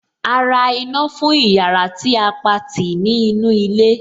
A ra iná fún ìyára tí a Pati ní inú ilé.